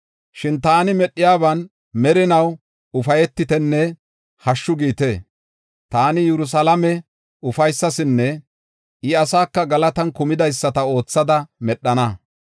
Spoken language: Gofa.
Shin taani medhiyaban merinaw ufaytitenne hashshu giite. Taani Yerusalaame ufaysasinne I asaaka galatan kumidaysata oothada medhana.